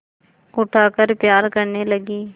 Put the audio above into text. उठाकर प्यार करने लगी